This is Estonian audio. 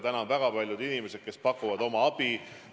Samas väga paljud inimesed pakuvad oma abi.